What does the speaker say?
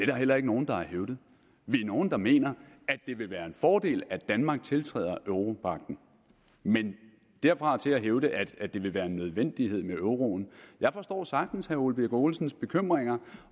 da heller ikke nogen der har hævdet vi er nogle der mener at det vil være en fordel at danmark tiltræder europagten men derfra og til at hævde at det vil være en nødvendighed med euroen jeg forstår sagtens herre ole birk olesens bekymringer